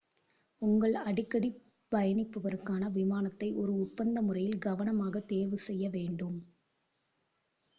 உங்கள் அடிக்கடி பயணிப்பவருக்கான விமானத்தை ஒரு ஒப்பந்த முறையில் கவனமாக தேர்வு செய்ய வேண்டும்